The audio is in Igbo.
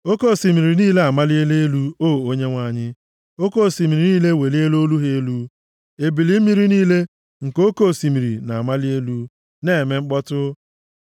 Oke osimiri niile amaliela elu, O Onyenwe anyị; oke osimiri niile eweliela olu ha elu; ebili mmiri niile nke oke osimiri na-amali elu na-eme mkpọtụ.